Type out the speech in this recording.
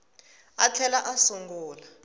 a a tlhela a sungula